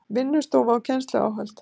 Vinnustofa og kennsluáhöld